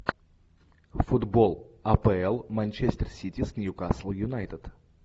футбол апл манчестер сити с ньюкасл юнайтед